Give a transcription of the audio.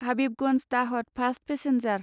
Habibganj Dahod fast passenger